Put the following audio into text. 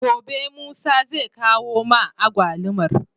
Gobe musa zai kawo ma agwalumar